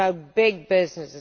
it is about big business